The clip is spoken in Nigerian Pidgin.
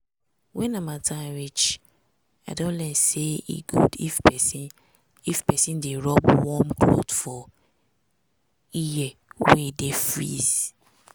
when harmattan reach i don learn say e good if persin if persin dey rub warm cloth for ear wey dey freeze.